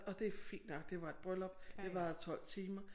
Og det er fint nok det var et bryllup det varede 12 timer